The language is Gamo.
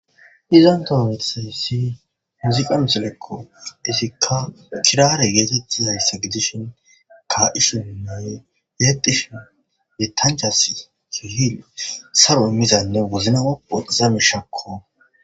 izan tas betixaus i muziqa misileko izikka kirare yeetettizaysa gidishin ka'ishininne yexishn yethanchas keeh saronne imizanne wozanae othiza mishako.